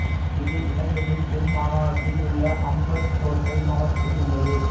இது இலங்கையின் தென் மாகாணத்தில் உள்ள அம்பாந்தோட்டை மாவட்டத்தில் உள்ளது